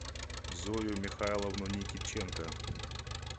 зою михайловну никитченко